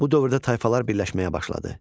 Bu dövrdə tayfalar birləşməyə başladı.